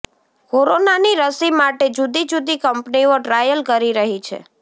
કોરોનાની રસી માટે જુદી જુદી કંપનીઓ ટ્રાયલ કરી રહી છે